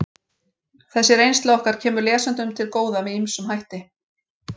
Þessi reynsla okkar kemur lesendum til góða með ýmsum hætti.